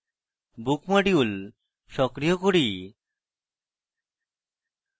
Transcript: book module সক্রিয় করি